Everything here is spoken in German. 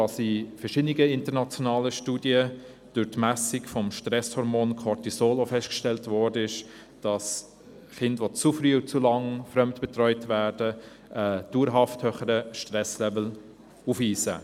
In verschiedenen internationalen Studien wurde durch die Messung des Stresshormons Cortisol festgestellt, dass Kinder, die zu früh und zu lange fremdbetreut werden, einen dauerhaft höheren Stresslevel aufweisen.